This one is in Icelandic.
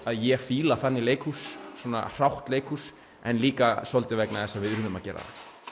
að ég fíla þannig leikhús svona hrátt leikhús en líka svolítið vegna þess að við urðum að gera